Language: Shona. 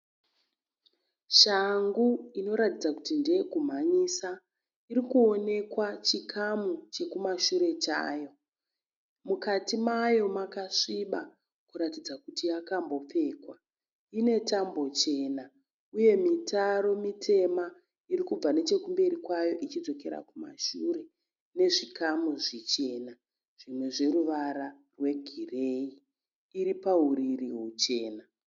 Shangu inoratidza kuti ndeye kumhanyisa. Iri kuonekwa chikamu chekumashure chayo. Mukati mayo makasviba kuratidza kuti yakambopfekwa. Ine tambo chena uye mitaro mitema iri kubva nechekumberi kwayo ichidzokera kumashure nezvikamu zvichena zvimwe zvoruvara hwegireyi. Iri pahuriri huchena.